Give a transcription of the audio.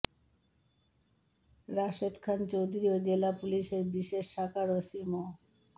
রাশেদ খান চৌধুরী ও জেলা পুলিশের বিশেষ শাখার ওসি মো